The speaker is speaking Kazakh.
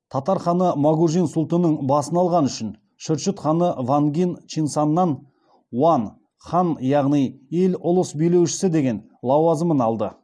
татар ханы мэгужин султінің басын алғаны үшін шүршіт ханы вангин чинсаннан уаң хан яғни ел ұлыс билеушісі деген лауазымын алды